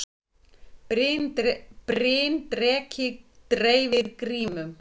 Bryndreki dreifir grímum